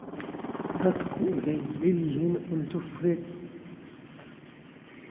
Dadku waxay jecel yihiin cunto fudud.